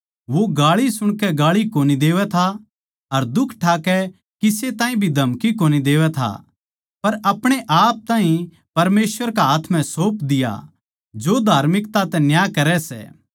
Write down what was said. वो गाळी सुणकै गाळी कोनी देवै था अर दुख ठाकै किसे ताहीं भी धमकी कोनी देवै था पर अपणे आप ताहीं परमेसवर कै हाथ म्ह सौंप दिया जो धार्मिकता तै न्याय करै सै